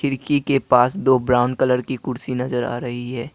खिड़की के पास दो ब्राउन कलर की कुर्सी नजर आ रही है।